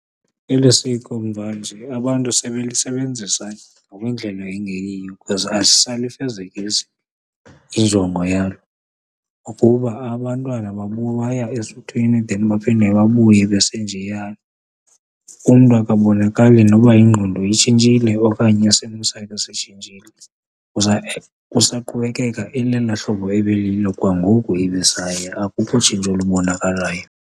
Eli siko mvanje abantu sebelisebenzisa ngokwendlela engeyiyo because alisayifezekisi injongo yalo ukuba abantwana baya esuthwini then baphinde babuye besenjeya. Umntu akabonakali noba yingqondo itshintshile okanye isimo sakhe sitshintshile usaqhubekeka elela hlobo ebelilo kwangoku ebesaya akukho tshintsho lubonakalayo.